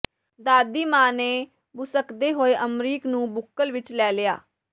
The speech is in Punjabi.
ਦਾਦੀ ਮਾਂ ਨੇ ਬੁਸਕਦੇ ਹੋਏ ਅਮਰੀਕ ਨੂੰ ਬੁੱਕਲ ਵਿਚ ਲੈ ਲਿਆ